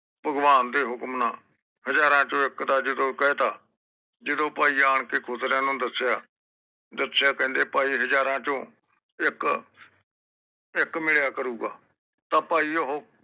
ਭਗਵਾਨ ਦੇ ਹੁਕਮ ਨਾ ਹਾਜਰ ਚੋ ਇਕ ਦਾ ਜਦੋ ਕਹਿਤਾ ਜਦੋ ਭਾਈ ਆਣਕੇ ਖੁਸਰਿਆਂ ਨੂੰ ਦਸਿਆ ਦਸਿਆ ਕਹਿੰਦੇ ਭਾਈ ਹਾਰਾਜ ਚੋ ਇਕ ਇਕ ਮਿਲਿਆ ਕਰੂਗਾ ਤਾ ਭਾਈ ਓਹੋ